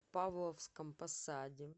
павловском посаде